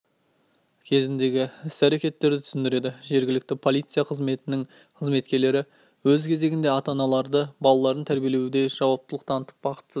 кезіндегі іс-әрекеттерді түсіндірді жергілікті полиция қызметінің қызметкерлері өз кезегінде ата-аналарды балаларын тәрбиелеуде жауаптылық танытып бақытсыз